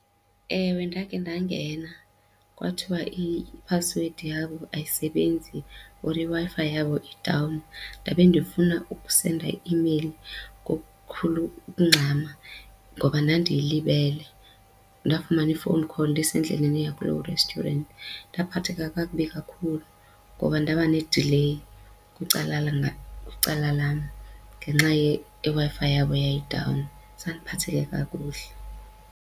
Ewe, ndakhe ndangena, kwathiwa iphasiwedi yabo ayisebenzi or iWi-Fi yabo i-down ndabe ndifuna ukusenda i-imeyili ngokukhulu ukungxama ngoba ndandilibele, ndafumana I-phone call ndisendleleni eya kuloo restaurant. Ndaphatheka kakubi kakhulu ngoba ndaba ne-delay kwicala lam ngenxa yeWi-Fi yabo eyayii-down. Zange ndiphatheke kakuhle.